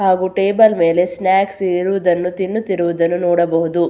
ಹಾಗು ಟೇಬಲ್ ಮೇಲೆ ಸ್ನಾಕ್ಸ್ ಇರುವುದನ್ನು ತಿನ್ನುತ್ತಿರುವುದನ್ನು ನೋಡಬಹುದು.